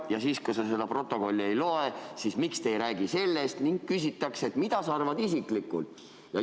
" Ja siis, kui sa protokolli ette ei loe, küsitakse, miks sa ei räägi sellest, ning küsitakse, mida sa isiklikult arvad.